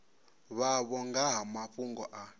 vhavho nga ha mafhungo a